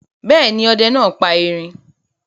Bẹ́ẹ̀ ni, ọdẹ náà pa erin.